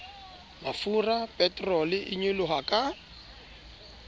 mafura peterole e nyoloha ka